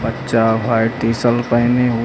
बच्चा white T shirt पहने हुए--